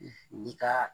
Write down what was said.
I ka